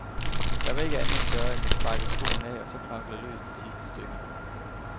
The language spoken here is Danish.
Der var ikke andet at gøre end at sparke skoen af, og så knokle løs det sidste stykke.